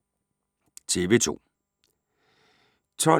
TV 2